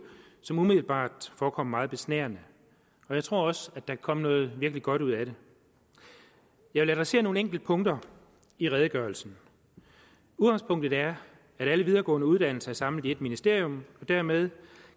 som umiddelbart forekommer meget besnærende jeg tror også at der kan komme noget virkelig godt ud af det jeg vil adressere nogle enkelte punkter i redegørelsen udgangspunktet er at alle videregående uddannelser er samlet i ét ministerium og dermed